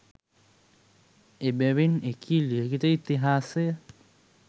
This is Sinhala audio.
එබැවින් එකී ලිඛිත ඉතිහාසය